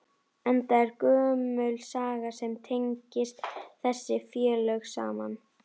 Enda er gömul saga sem tengist þessi félög saman?